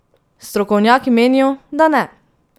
Strokovnjaki menijo, da ne!